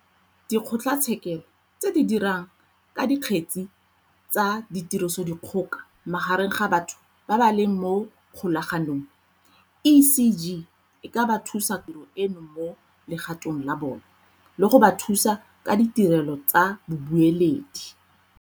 Di kgotlatshekelo tse di Dirang ka Dikgetsa tsa tirisodikgoka magareng ga batho ba ba leng mo kgolaganong, CGE e ka ba thusa ka go diragatsa tiro eno mo legatong la bona, le go ba thusa ka ditirelo tsa babueledi.